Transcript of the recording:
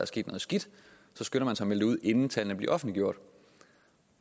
sket noget skidt så skynder man sig at melde det ud inden tallene bliver offentliggjort